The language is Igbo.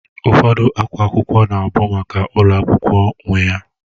Ụfọdụ akwa akwụkwọ na-abụ maka ulo akwukwo nwe ya